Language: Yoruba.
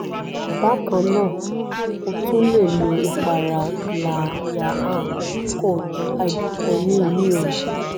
bákan náà o tún lè lo ìpara glyaha koj hydroquinone ní òru